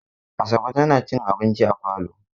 Asabe tana cin abinci a falo.